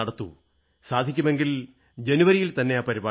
സാധിക്കുമെങ്കിൽ ജനുവരിയിൽത്തന്നെ ആ പരിപാടി നടത്തണം